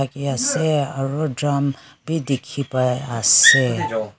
ase aro drum b dikhi pai ase.